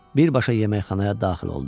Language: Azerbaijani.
Birbaşa yeməkxanaya daxil oldu.